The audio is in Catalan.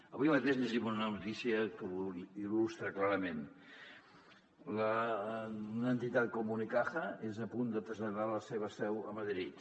avui mateix llegim una notícia que ho il·lustra clarament una entitat com unicaja és a punt de traslladar la seva seu a madrid